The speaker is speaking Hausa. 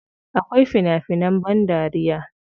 Akwai fina finan ban dariya.